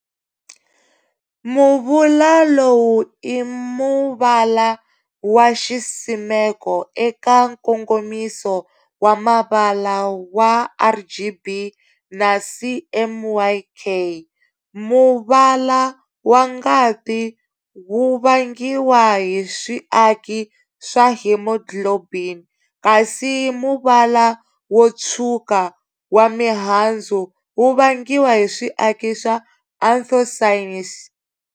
Muvula lowu i muvala waxisimeko eka nkongomiso wa mavala wa RGB na CMYK. Muvala wa ngati wuvangiwa hi swiaki swa hemoglobin, kasi muvala wo tshwuka wa mihandzu wu vangiwa swiaki swa anthocyanins.